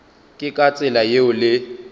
ke ka tsela yeo le